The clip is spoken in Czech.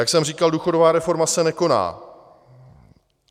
Jak jsem říkal, důchodová reforma se nekoná.